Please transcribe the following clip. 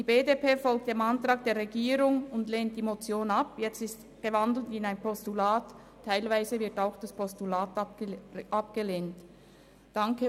Die BDP folgt dem Antrag der Regierung und lehnt die Motion ab, die nun in ein Postulat umgewandelt worden ist.